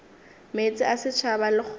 meetse a setšhaba le kgoro